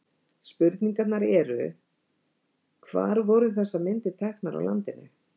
Spurningarnar eru: Hvar voru þessar myndir teknar á landinu?